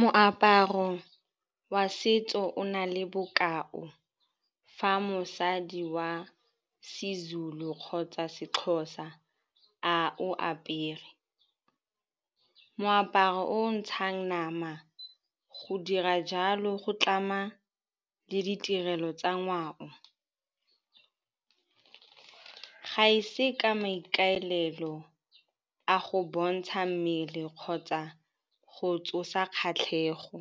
Moaparo wa setso o na le bokao fa mosadi wa Sezulu kgotsa Sexhosa a o apere. Moaparo o ntshang nama o dira jalo o tlama le ditirelo tsa ngwao. Ga e se ka maikaelelo a go bontsha mmele kgotsa go tsosa kgatlhego.